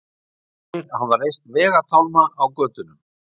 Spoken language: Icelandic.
Aðrir hafa reist vegatálma á götunum